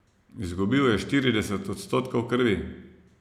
Izgubil je štirideset odstotkov krvi.